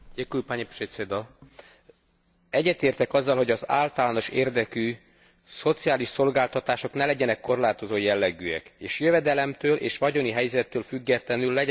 Egyetértek azzal, hogy az általános érdekű szociális szolgáltatások ne legyenek korlátozó jellegűek és jövedelemtől és vagyoni helyzettől függetlenül legyen hozzáférhető minden polgár számára.